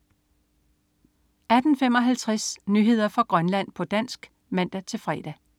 18.55 Nyheder fra Grønland, på dansk (man-fre)